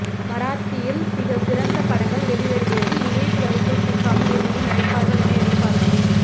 மராத்தியில் மிக சிறந்த படங்கள் வெளிவருகிறது இமேஜ் வலைக்குள் சிக்காமல் இருவரும் நடிப்பார்கள் என எதிர்பார்க்கலாம்